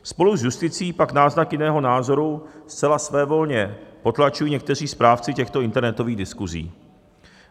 Spolu s justicí pak náznak jiného názoru zcela svévolně potlačují někteří správci těchto internetových diskusí.